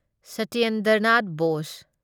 Satyendra Nath Bose